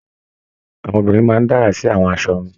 Àwọn obìnrin máa n dárá sí àwọn aṣọ wọn.